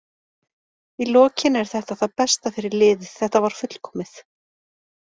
Í lokin er þetta það besta fyrir liðið, þetta var fullkomið.